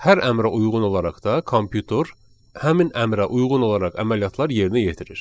Hər əmrə uyğun olaraq da kompüter həmin əmrə uyğun olaraq əməliyyatlar yerinə yetirir.